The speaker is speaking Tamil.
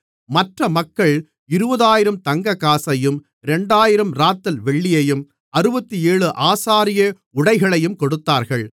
மற்ற மக்கள் 20000 தங்கக்காசையும் 2000 ராத்தல் வெள்ளியையும் 67 ஆசாரிய உடைகளையும் கொடுத்தார்கள்